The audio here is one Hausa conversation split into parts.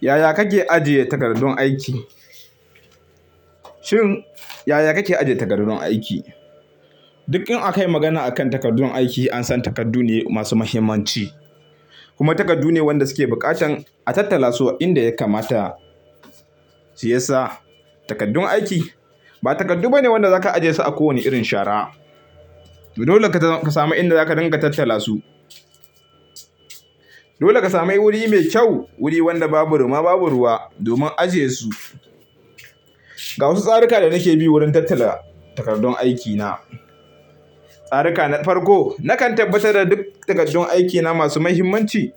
Yaya kake ajiye takardun aiki? Shin, yaya kake ajiye takardun aiki? Duk in aka yi magana akan takardun aiki, an san takardu ne masu muhimmanci, kuma takardu ne wanda suke buƙatan a tattala su a inda ya kamata. Shi yasa takardun aiki ba takardu bane wanda zaka ajiye su a ko wane irin shara. Dole ka sami inda zaka dinga tattala su. Dole ka sami wuri mai kyau, wuri wanda babu rima babu ruwa domin ajiye su. Ga wasu tsaruka da nake bi wurin tattala takardun aikina. Tsaruka na farko, nakan tabbatar da duk takardun aikina masu muhimmanci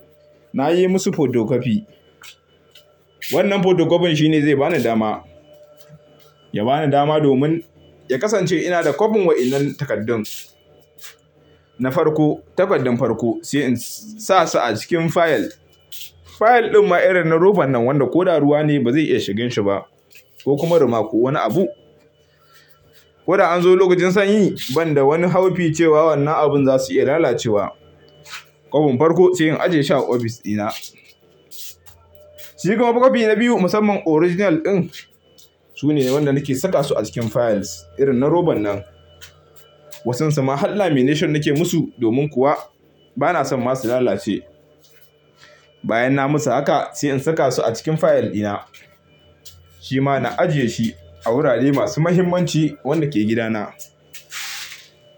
na yi musu fotokofi. Wannan fotokofin shi ne zai bani dama, ya bani dama domin ya kasance ina da kwafin wa'innan takardun. Na farko, takardun farko sai in sa su a cikin fayil. Fayil din ma irin na roba nan wanda ko da ruwa ne ba zai iya shigin shi ba ko kuma ruma ko wani abu. Koda an zo lokacin sanyi banda wani haufi cewa wannan abun za su iya lalacewa. Kwafin farko sai in ajiye shi a ofis ɗina. Shi kuma kwafi na biyu musamman original din, sune wanda nake saka su a cikin fayil irin na roban nan. Wasunsu ma har lamination nake musu domin kuwa bana son ma su lalace. Bayan na musu haka, sai in saka su a cikin fayil ina. Shi ma na ajiye shi a wurare masu muhimmanci wanda ke gidana.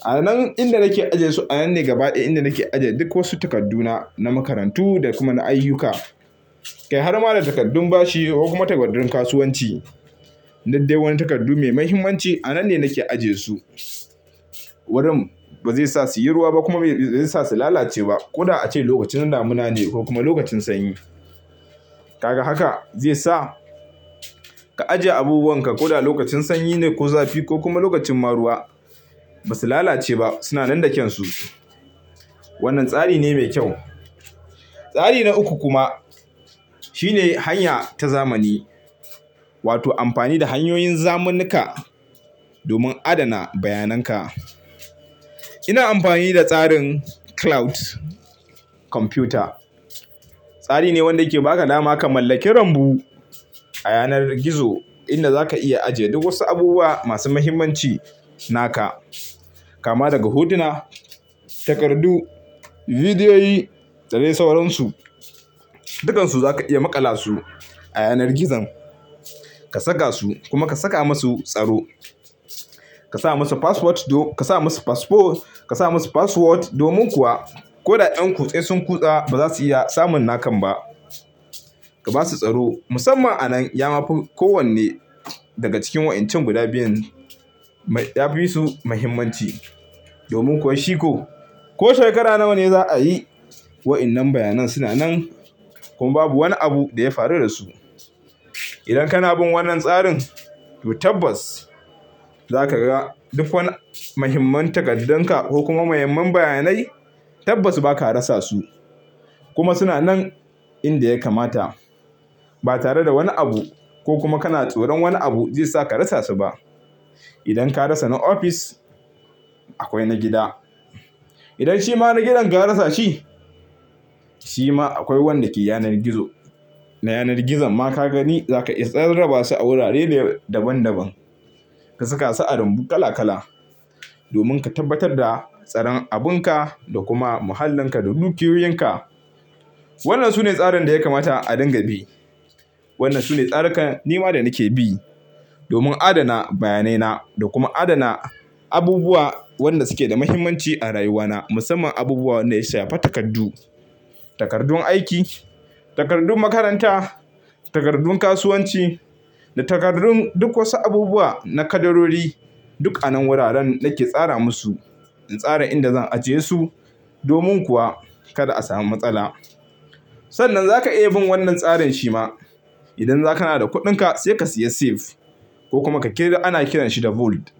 A nan ne inda nake ajiye su, a nan ne gaba daya inda nake ajiye duk wasu takarduna na makarantu da kuma na ayyuka. Kai har ma da takardun bashi ko kuma takardun kasuwanci, duk dai ne takardu mai muhimmanci. A nan ne nake ajiye su. Wurin ba zai sa su yi ruwa ba kuma ba zai sa su lalace ba. Koda a ce lokacin damuna ne ko kuma lokacin sanyi. Kaga haka zai sa ka ajiye abubuwanka. Koda lokacin sanyi ne ko zafi ko kuma lokacin ma ruwa, ba su lalace ba. Su na nan da kansu. Wannan tsari ne mai kyau. Tsari na uku kuma shine hanya ta zamani, wato amfani da hanyoyin zamunnuka domin adana bayanan ka. Ina amfani da tsarin cloud computer. Tsari ne wanda yake ba ka dama ka mallaki rambu a yanar gizo inda zaka iya ajiye duk wasu abubuwa masu muhimmanci naka. Kama daga hotuna, takardu, bidiyoyi, da dai sauransu. Dukansu zaka iya maƙala su a yanar gizon. Ka saka su kuma ka saka musu tsaro. Ka sa musu password, ka sa musu password domin kuwa ko da 'yan kutse sun kutsa, ba za su iya samun nakan ba. Ka ba su tsaro musamman a nan ya mafu ko wanne daga cikin wa'in can guda biyun. Ya fi su muhimmanci domin kuwa shiko ko shekara nawa ne za a yi wa'innan bayanai su na nan kuma babu wani abu da ya faru da su. Idan kana bin wannan tsarin, to tabbas za ka ga duk wani muhimmin takardun ka ko kuma muhimman bayanai tabbas ba ka rasa su. Kuma suna nan inda ya kamata ba tare da wani abu ko kuma kana tsoron wani abu zai sa ka rasa su ba. Idan ka rasa na ofis, akwai na gida. Idan shi ma na gidan ka rasa shi, shi ma akwai wanda ke yanar gizo. Na yanar gizon ma ka gani za ka iya rarraba su a wurare daban daban. Ka saka su a rambu kala kala domin ka tabbatar da tsaron abun ka da kuma muhallin ka da dukiyoyin ka. Wannan sune tsarin da ya kamata a dinga bi. Wannan sune tsarukan nima da nake bi domin adana bayanai na da kuma adana abubuwa wanda suke da muhimmanci a rayuwana. Musamman abubuwa wanda ya shafi takardu. Takardun aiki, takardun makaranta, takardun kasuwanci da takardun duk wasu abubuwa na kadarori, duk a nan wuraren nake tsara musu. In tsara inda zan ajiye su domin kuwa kada a samu matsala. Sannan za ka iya bin wannan tsarin shi ma. Idan zakana da kuɗinka, sai ka siya safe ko kuma ka kira ana kiran shi da vault.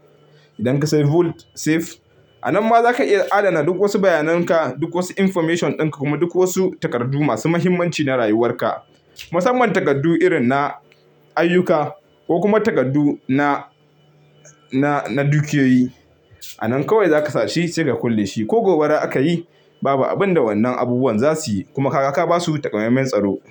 Idan ka sayi vault safe, a nan ma za ka iya adana duk wasu bayanan ka, duk wasu information din ka kuma duk wasu takardu masu muhimmanci na rayuwar ka. Musamman takardu irin na ayyuka ko kuma takardu na dukiyoyi. A nan kawai za ka sashi sai ka kulle shi ko gobara aka yi, babu abin da wannan abubuwan za su yi. Kuma ka ba su takamaiman tsaro.